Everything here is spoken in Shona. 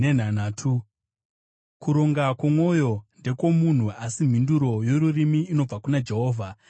Kuronga kwomwoyo ndekwomunhu, asi mhinduro yorurimi inobva kuna Jehovha.